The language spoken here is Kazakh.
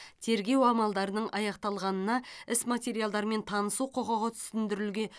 тергеу амалдарының аяқталғанына іс материалдарымен танысу құқығы түсіндірілген